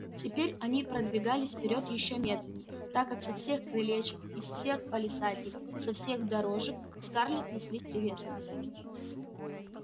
теперь они продвигались вперёд ещё медленнее так как со всех крылечек из всех палисадников со всех дорожек к скарлетт неслись приветствия